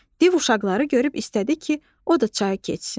Div uşaqları görüb istədi ki, o da çayı keçsin.